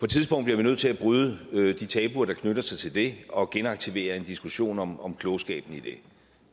tidspunkt bliver vi nødt til at bryde de tabuer der knytter sig til det og genaktivere en diskussion om om klogskaben i det